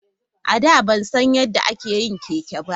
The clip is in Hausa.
A da ban san yadda ake yin keke ba.